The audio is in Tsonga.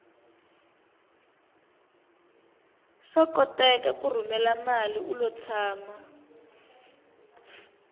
swa koteka ku rhumela mali ulo tshama